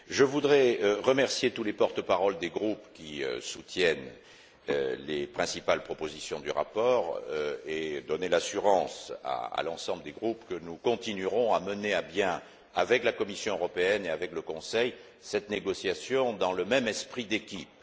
Je voudrais remercier tous les porte parole des groupes qui soutiennent les principales propositions du rapport et donner l'assurance à l'ensemble des groupes que nous continuerons à mener à bien, avec la Commission européenne et avec le Conseil, cette négociation dans le même esprit d'équipe.